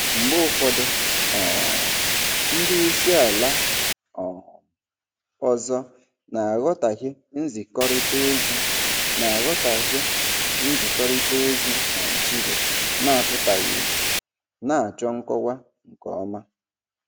Mgbe ụfọdụ um ndị isi ala um ọzọ na-aghọtahie nzikọrịta ozi na-aghọtahie nzikọrịta ozi Naijiria na-apụtaghị ìhè, na-achọ nkọwa nke ọma.